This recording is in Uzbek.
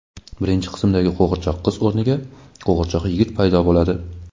birinchi qismdagi qo‘g‘irchoq qiz o‘rniga qo‘g‘irchoq yigit paydo bo‘ladi.